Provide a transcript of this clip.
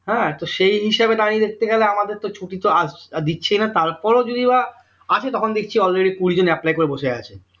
হ্যাঁ তো সেই হিসাবে দাঁড়িয়ে দেখতে গেলে আমাদের তো ছুটি তো আহ দিচ্ছেই না তারপরও যদিও বা আছে তখন দেখছি already কুড়ি জন apply করে বসে আছে